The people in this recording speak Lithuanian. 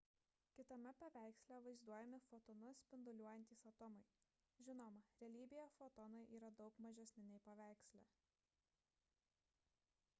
kitame paveiksle vaizduojami fotonus spinduliuojantys atomai žinoma realybėje fotonai yra daug mažesni nei paveiksle